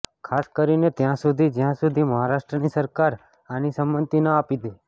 ખાસ કરીને ત્યાં સુધી જ્યાં સુધી મહારાષ્ટ્રની સરકાર આની સંમતિ ન આપી દે